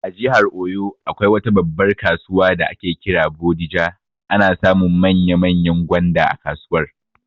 A jihar oyo, akwai wata babbar kasuwar da ake kira 'Bodija', ana samun manya manyan gwanda a kasuwar